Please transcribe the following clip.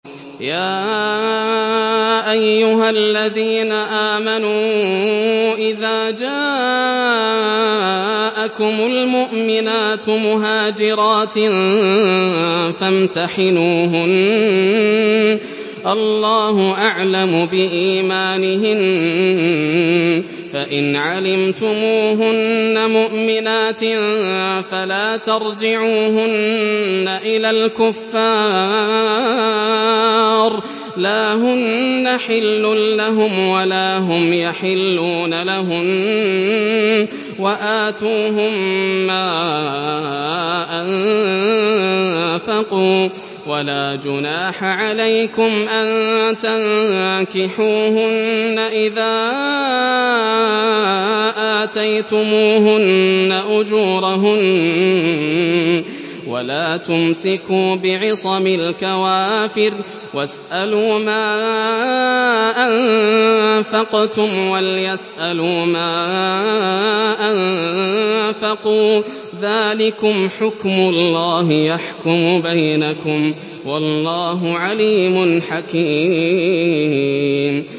يَا أَيُّهَا الَّذِينَ آمَنُوا إِذَا جَاءَكُمُ الْمُؤْمِنَاتُ مُهَاجِرَاتٍ فَامْتَحِنُوهُنَّ ۖ اللَّهُ أَعْلَمُ بِإِيمَانِهِنَّ ۖ فَإِنْ عَلِمْتُمُوهُنَّ مُؤْمِنَاتٍ فَلَا تَرْجِعُوهُنَّ إِلَى الْكُفَّارِ ۖ لَا هُنَّ حِلٌّ لَّهُمْ وَلَا هُمْ يَحِلُّونَ لَهُنَّ ۖ وَآتُوهُم مَّا أَنفَقُوا ۚ وَلَا جُنَاحَ عَلَيْكُمْ أَن تَنكِحُوهُنَّ إِذَا آتَيْتُمُوهُنَّ أُجُورَهُنَّ ۚ وَلَا تُمْسِكُوا بِعِصَمِ الْكَوَافِرِ وَاسْأَلُوا مَا أَنفَقْتُمْ وَلْيَسْأَلُوا مَا أَنفَقُوا ۚ ذَٰلِكُمْ حُكْمُ اللَّهِ ۖ يَحْكُمُ بَيْنَكُمْ ۚ وَاللَّهُ عَلِيمٌ حَكِيمٌ